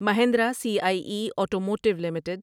Mahindra C I E automotive limited